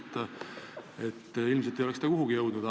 Ta ei oleks selle peale kuhugi jõudnud.